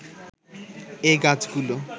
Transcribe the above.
এ গাছগুলো